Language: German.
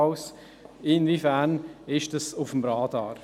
Inwiefern ist das auf dem Radar?